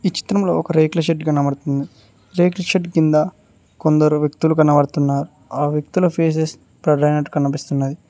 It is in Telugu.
ఈ చిత్రంలో ఒక రేకుల షెడ్ కనబడుతుంది. రేకుల షెడ్ కింద కొందరు వ్యక్తులు కనబడుతున్నారు ఆ వ్యక్తుల ఫేసస్ బ్లర్ అయినట్టు కనిపిస్తున్నది.